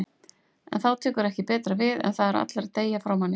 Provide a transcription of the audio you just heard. En þá tekur ekki betra við en það að allir deyja frá manni.